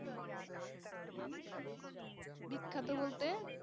বিখ্যাত বলতে?